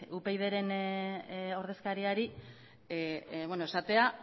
upydren ordezkariari esatea